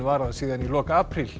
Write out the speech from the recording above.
varað síðan í lok apríl